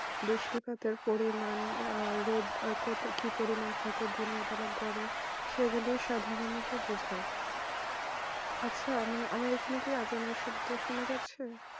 বৃষ্টি পাতে পরিমান রোধ কত কি পরিমান থাকে দিনে বেলায় গড়ে সেগুলো সাধনতো বোঝাই আচ্ছা আমি এখানে কি আজানে শব্দ সোনা যাচ্ছে